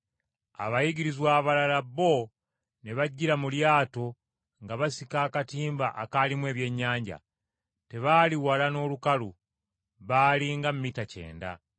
Abayigirizwa abalala bo ne bajjira mu lyato nga basika akatimba akaalimu ebyennyanja. Tebaali wala n’olukalu, baali nga mita kyenda.